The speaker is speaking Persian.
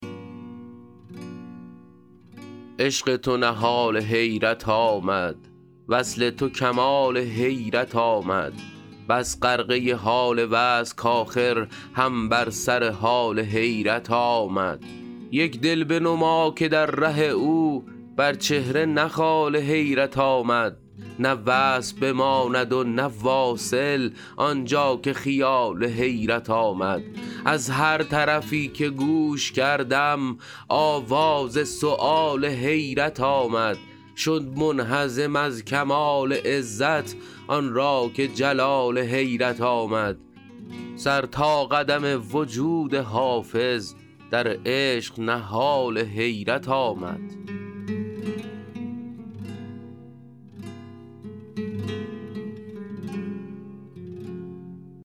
عشق تو نهال حیرت آمد وصل تو کمال حیرت آمد بس غرقه حال وصل کآخر هم بر سر حال حیرت آمد یک دل بنما که در ره او بر چهره نه خال حیرت آمد نه وصل بماند و نه واصل آن جا که خیال حیرت آمد از هر طرفی که گوش کردم آواز سؤال حیرت آمد شد منهزم از کمال عزت آن را که جلال حیرت آمد سر تا قدم وجود حافظ در عشق نهال حیرت آمد